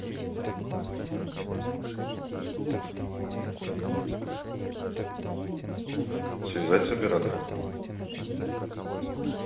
связать с оператором